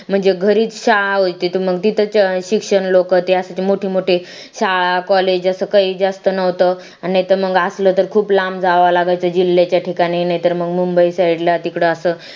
म्हणजे घरी शाळा होती मग तिथंच शिक्षण लोकं त्यासाठी मोठे मोठे शाळा college जास्त काही जास्त नव्हतं आणि तर मग असलं तर खूप लांब जावा लागेल त्या जिल्ह्याच्या ठिकाणी नाहीतर मग मुंबई side ला तिकडे असं